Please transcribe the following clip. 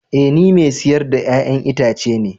Ee ni mai siyar da 'ya'yan itace ne